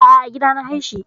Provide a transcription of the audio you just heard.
A'a, a gida na haihi.